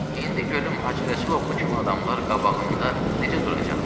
İndi görüm Hacı Rəsul oğlu kimi adamlar qabağında necə duracaqlar?